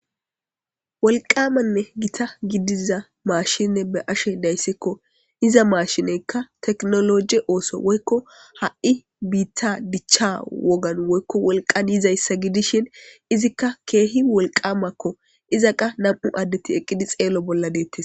wolqamanne gita gidiza maashine be ashe dayssekko iza maashineykka teknoloje ooso woykko ha7i biitta dichcha wogan woykko wolqan yizayssa gidishin izikka keehi wolqamakko iza qa nam7u addeti eqqidi xeelo bolla deettes